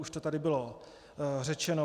Už to tady bylo řečeno.